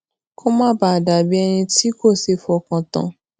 kó má bàa dà bí ẹni tí kò ṣeé fọkàn tán